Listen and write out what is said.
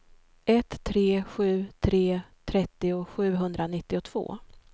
ett tre sju tre trettio sjuhundranittiotvå